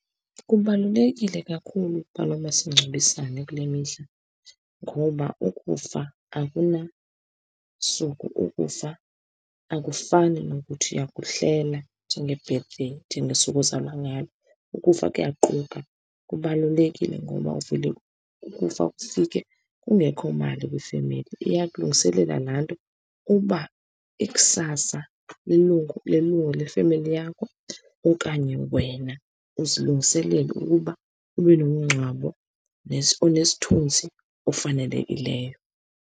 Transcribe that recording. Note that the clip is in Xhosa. Kubalulekile kakhulu ukuba nomasingcwabisane kule mihla ngoba ukufa akunasuku. Ukufa akufani nokuthi uyakuhlela njenge-birthday, njengosuku ozalwa ngalo. Ukufa kuyaquka, kubalulekile ngoba uvele ukufa kufike kungekho mali kwifemeli. Iyakulungiselela laa nto uba ikusasa lelungu, lelungu lefemeli yakho okanye wena uzilungiselele ukuba ube nomngcwabo onesithunzi ofanelekileyo.